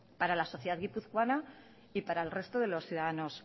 para la sociedad guipuzcoana y para el resto de los ciudadanos